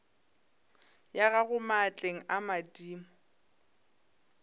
ya gago maatleng a madimo